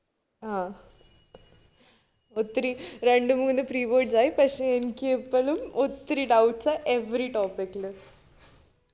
ആഹ് ഒത്തിരി രണ്ടു മൂന്നു preboards ആയി പക്ഷെ എനിക്ക് ഇപ്പോഴും ഒത്തിരി doubts ആ every topic ലും